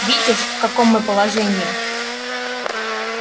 видишь в каком мы положении